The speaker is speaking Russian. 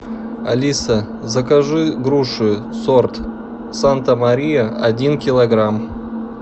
алиса закажи груши сорт санта мария один килограмм